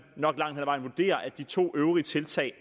nok langt hen ad vejen vurderer at de to øvrige tiltag